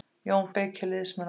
JÓN BEYKIR: Liðsmenn okkar.